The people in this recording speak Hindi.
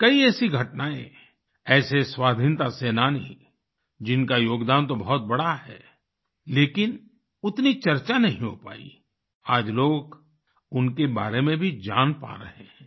कई ऐसी घटनाएँ ऐसे स्वाधीनता सेनानी जिनका योगदान तो बहुत बड़ा है लेकिन उतनी चर्चा नहीं हो पाई आज लोग उनके बारें में भी जान पा रहे हैं